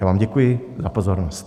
Já vám děkuji za pozornost.